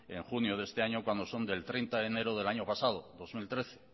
en junio de este año cuando son del treinta de enero del año pasado dos mil trece